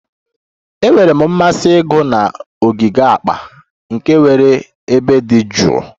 Enwere m mmasị ịgụ na ogige akpa, nke nwere ebe dị jụụ